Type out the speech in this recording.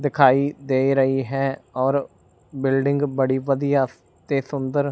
ਦਿਖਾਈ ਦੇ ਰਹੀ ਹੈ ਔਰ ਬਿਲਡਿੰਗ ਬੜੀ ਵਧੀਆ ਤੇ ਸੁੰਦਰ --